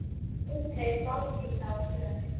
Ég fékk aldrei botn í þá för.